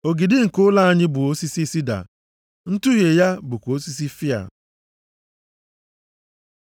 Ogidi nke ụlọ anyị bụ osisi sida, ntuhie ya bụkwa osisi fịa.